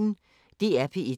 DR P1